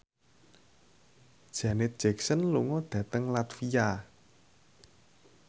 Janet Jackson lunga dhateng latvia